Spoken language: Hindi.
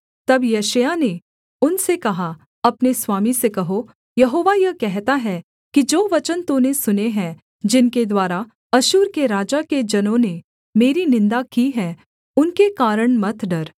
तब यशायाह ने उनसे कहा अपने स्वामी से कहो यहोवा यह कहता है कि जो वचन तूने सुने हैं जिनके द्वारा अश्शूर के राजा के जनों ने मेरी निन्दा की है उनके कारण मत डर